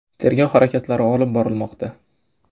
Tergov harakatlari olib borilmoqda.